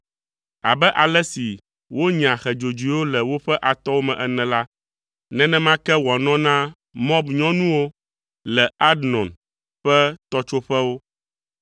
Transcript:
Abe ale si wonyaa xe dzodzoewo le woƒe atɔwo me ene la, nenema ke wòanɔ na Moab nyɔnuwo le Arnon ƒe tɔtsoƒewo.